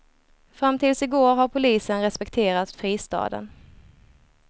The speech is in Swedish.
Fram tills i går har polisen respekterat fristaden.